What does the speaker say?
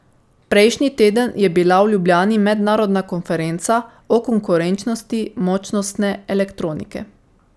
Prejšnji teden je bila v Ljubljani mednarodna konferenca o konkurenčnosti močnostne elektronike.